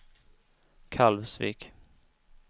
Kalvsvik